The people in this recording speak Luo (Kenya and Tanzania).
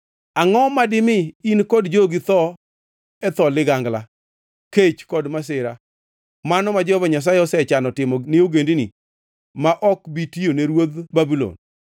Angʼo madimi in kod jogi tho e dho ligangla, kech kod masira mano ma Jehova Nyasaye osechano timo ni ogendini ma ok bi tiyone ruodh Babulon?